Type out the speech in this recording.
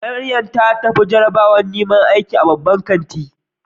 Mariam ta tafi jarabawar neman aiki a babban kanti.